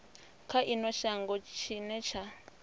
kha ino shango tshine tsha